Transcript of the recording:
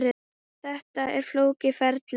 Þetta er flókið ferli.